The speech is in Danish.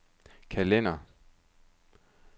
kalender